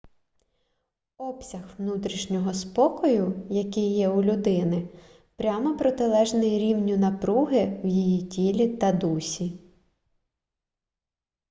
обсяг внутрішнього спокою який є у людини прямо протилежний рівню напруги в її тілі та дусі